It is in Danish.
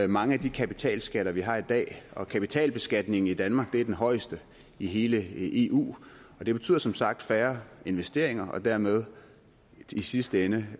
mange af de kapitalskatter som vi har i dag og kapitalbeskatningen i danmark er den højeste i hele eu og det betyder som sagt færre investeringer og dermed i sidste ende